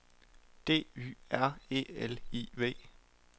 D Y R E L I V